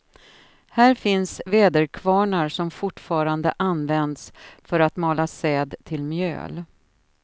Här finns väderkvarnar som fortfarande används för att mala säd till mjöl.